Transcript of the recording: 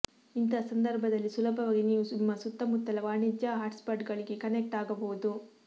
ಇಂತಹ ಸಂದರ್ಭದಲ್ಲಿ ಸುಲಭವಾಗಿ ನೀವು ನಿಮ್ಮ ಸುತ್ತಮುತ್ತಲ ವಾಣಿಜ್ಯ ಹಾಟ್ಸ್ಪಾಟ್ಗಳಿಗೆ ಕನೆಕ್ಟ್ ಆಗಬಹುದು